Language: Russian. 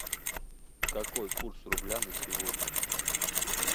какой курс рубля на сегодня